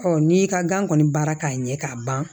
n'i y'i ka gan kɔni baara k'a ɲɛ k'a ban